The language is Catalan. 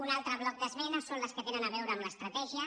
un altre bloc d’esmenes són les que tenen a veure amb l’estratègia